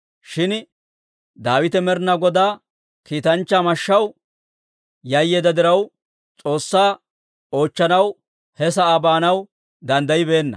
Shin Daawite Med'inaa Godaa kiitanchchaa mashshaw yayyeedda diraw, S'oossaa oochchanaw he sa'aa baanaw danddayibeenna.